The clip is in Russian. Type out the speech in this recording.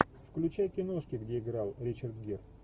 включай киношки где играл ричард гир